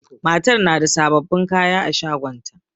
Matar na da sababbin kaya a shagonta